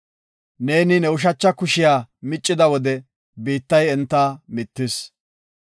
Neeni ne ushacha kushiya miccida wode, biittay enta mittis.